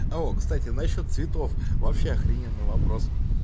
о кстати насчёт цветов вообще охрененный вопрос